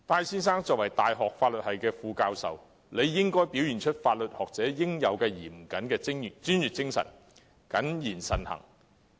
身為大學法律系副教授，戴先生理應表現法律學者應有的嚴謹專業精神，謹言慎行。